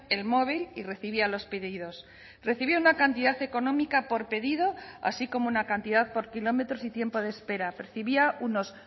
el móvil y recibía los pedidos recibió una cantidad económica por pedido así como una cantidad por kilómetros y tiempo de espera percibía unos